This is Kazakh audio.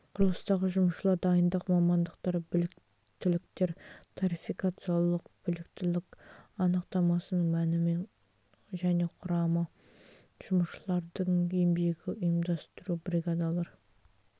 құрылыстағы жұмысшылар дайындық мамандықтар біліктіліктер тарификациялық біліктілік анықтамасының мәні және құрамы жұмысшылардың еңбегін ұйымдастыру бригадалар